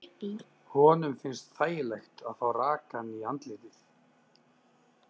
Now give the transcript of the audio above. Honum finnst þægilegt að fá rakann í andlitið.